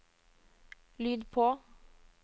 lyd på